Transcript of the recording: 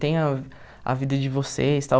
Tenha a vida de vocês, tal.